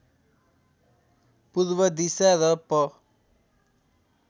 पूर्व दिशा र प